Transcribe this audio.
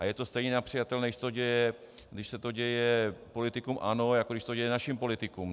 A je to stejně nepřijatelné, když se to děje politikům ANO, jako když se to děje našim politikům.